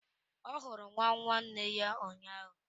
Ọ hụrụ nwa nwanne ya ụnyahụ.